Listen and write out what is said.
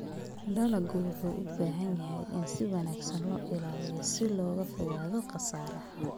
Dalaggu wuxuu u baahan yahay in si wanaagsan loo ilaaliyo si looga fogaado khasaaraha.